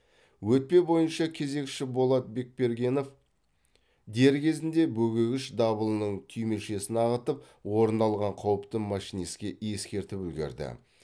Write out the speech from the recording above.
өтпе бойынша кезекші болат бекбергенов дер кезінде бөгегіш дабылының түймешесін ағытып орын алған қауіпті машинистке ескертіп үлгерді